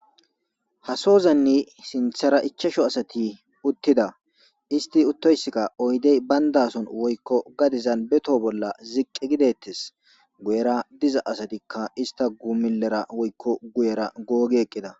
ha sozanni sinthara ichasho asati uttida isti uttoyskka oydey bayndason woykko gadizan betoo bolla ziqqi gidettes guyera diza asatikka ista guumilera woykko guyera googi eqqida